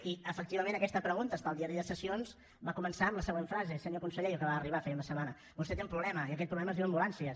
i efectivament aquesta pregunta està al diari de sessions va començar amb la següent frase senyor conseller jo acabava d’arribar feia una setmana vostè té un problema i aquest problema és diu ambulàncies